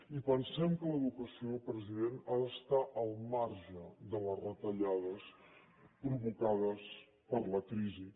i pensem que l’educació president ha d’estar al marge de les retallades provocades per la crisi